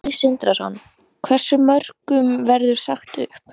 Sindri Sindrason: Hversu mörgum verður sagt upp?